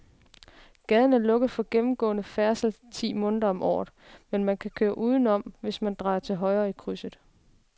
Gaden er lukket for gennemgående færdsel ti måneder om året, men man kan køre udenom, hvis man drejer til højre i krydset.